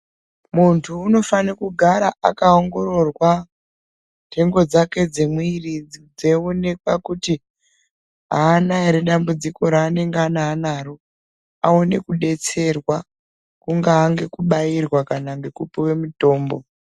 Munthu unofane kugara akaongororwa nthengo dzake dzemwiri dzeionekwa kuti aana ere dambudziko raangangana anaro aone kudetsirwa kungaa ngekubairwa kana ngekupuwe mutombo.